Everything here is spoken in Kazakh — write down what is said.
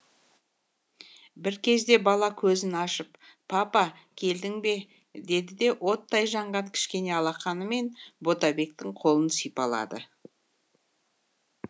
бір кезде бала көзін ашып папа келдің бе деді де оттай жанған кішкене алақанымен ботабектің қолын сипалады